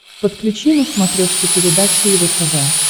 подключи на смотрешке передачу его тв